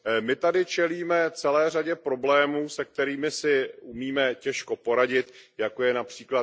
My tady čelíme celé řadě problémů, se kterými si umíme těžko poradit, jako je např.